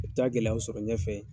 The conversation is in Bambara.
U bɛ taa gɛlɛya sɔrɔ ɲɛfɛ ye